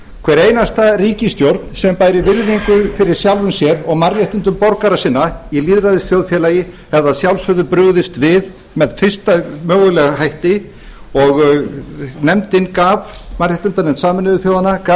hver einasta ríkisstjórn sem bæri virðingu fyrir sjálfri sér og mannréttindum borgara sinna í lýðræðisþjóðfélagi hefði að sjálfsögðu brugðist við með fyrsta mögulega hætti og mannréttindanefnd sameinuðu þjóðanna gaf